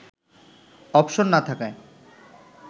option না থাকায়